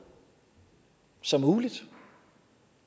som muligt